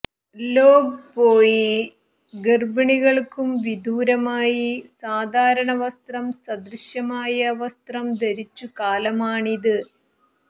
long പോയി ഗർഭിണികൾക്കും വിദൂരമായി സാധാരണ വസ്ത്രം സദൃശമായ വസ്ത്രം ധരിച്ചു കാലമാണിത്